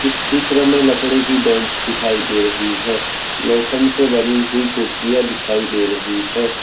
चित्र में लकड़ी की बेंच दिखाई दे रही है लोखंड से बनी हुई कुर्सियां दिखाई दे रही है।